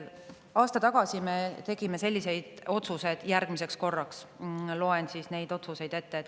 Aasta tagasi me tegime sellised otsused järgmiseks korraks, loen need otsused ette.